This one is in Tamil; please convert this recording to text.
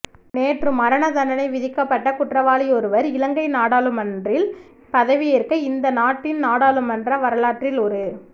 நேற்று மரணதண்டனை விதிக்கப்பட்ட குற்றவாளியொருவர் இலங்கை நாடாளுமன்றில் பதவியேற்க இந்த நாட்டின் நாடாளுமன்ற வரலாற்றில் ஒரு